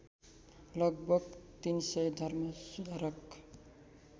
लगभग ३०० धर्मसुधारक